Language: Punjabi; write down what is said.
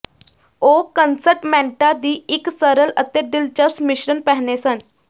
ਉਹ ਕੰਸਟਮੈਂਟਾਂ ਦੀ ਇੱਕ ਸਰਲ ਅਤੇ ਦਿਲਚਸਪ ਮਿਸ਼ਰਣ ਪਹਿਨੇ ਸਨ